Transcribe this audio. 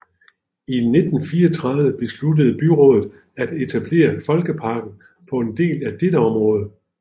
I 1934 besluttede byrådet at etablere Folkeparken på en del af dette område